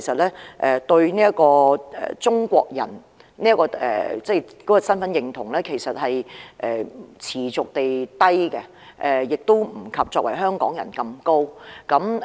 他們對於中國人的身份認同持續偏低，亦不及作為香港人般高。